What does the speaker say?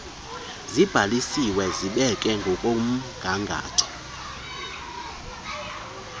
zibhaliswe zibekwe ngokomgangatho